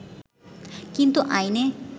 কিন্তু আইনে